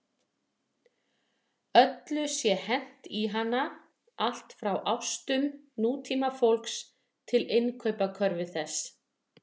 Öllu sé hent í hana, allt frá ástum nútímafólks til innkaupakörfu þess.